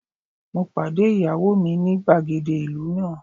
Mo pàdé ìyàwó mi ní gbàgede ìlú náà.